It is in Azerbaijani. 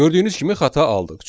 Gördüyünüz kimi xəta aldıq.